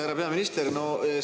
Härra peaminister!